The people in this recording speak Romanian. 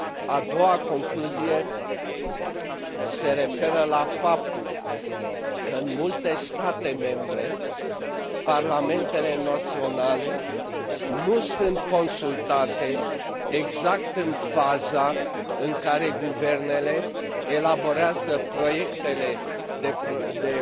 A doua concluzie se referă la faptul că în multe state membre, parlamentele naționale nu sunt consultate exact în faza în care guvernele elaborează proiectele de